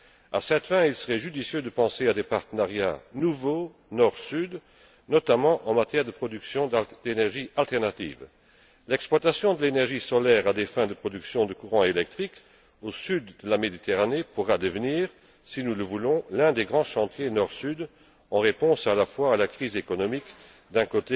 À cette fin, il serait judicieux de penser à des partenariats nouveaux Nord Sud, notamment en matière de production d'énergie alternative. L'exploitation de l'énergie solaire à des fins de production de courant électrique au sud de la Méditerranée pourra devenir, si nous le voulons, l'un des grands chantiers Nord Sud, en réponse à la crise économique, d'une